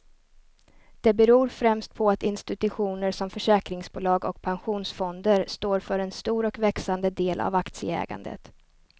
Det beror främst på att institutioner som försäkringsbolag och pensionsfonder står för en stor och växande del av aktieägandet.